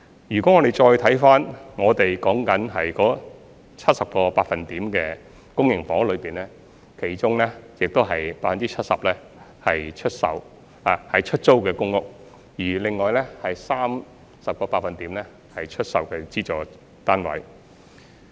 如果大家再看看我們所說的 70% 公營房屋，其中 70% 是出租公屋，而另外 30% 是資助出售單位。